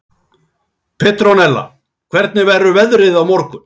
Petrónella, hvernig verður veðrið á morgun?